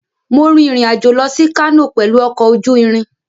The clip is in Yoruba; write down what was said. Mo rin ìrìn-àjò lọ sí Kano pẹ̀lú ọkọ̀ ojú irin.